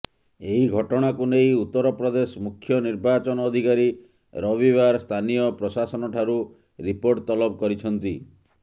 ଏହି ଘଟଣାକୁ ନେଇ ଉତ୍ତରପ୍ରଦେଶ ମୁଖ୍ୟ ନିର୍ବାଚନ ଅଧିକାରୀ ରବିବାର ସ୍ଥାନୀୟ ପ୍ରଶାସନଠାରୁ ରିପୋର୍ଟ ତଲବ କରିଛନ୍ତି